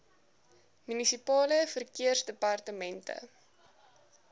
munisipale verkeersdepartemente